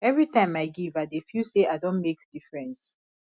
every time i give i dey feel say i don make difference